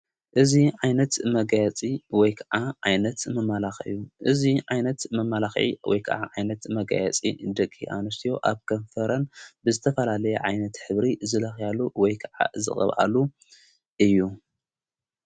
እዙ ኣይነት መጋያፂ ወይ ከዓ ኣይነት መመላኽዩ እዙይ ዓይነት መማላኺ ወይ ከዓ ዓይነት መጋያጺ ድቂ ኣንሴ ኣብ ከንፈረን ብዝተፈላለየ ዓይነት ኅብሪ ዝለኽያሉ ወይ ከዓ ዝቕብኣሉ እዩ::